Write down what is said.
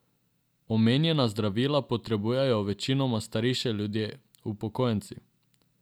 Omenjena zdravila potrebujejo večinoma starejši ljudje, upokojenci.